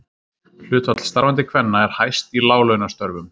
Hlutfall starfandi kvenna er hæst í láglaunastörfum.